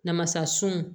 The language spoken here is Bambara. Namasasun